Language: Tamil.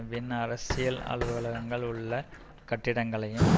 வின் அரசியல் அலுவலகங்கள் உள்ள கட்டடங்களையும்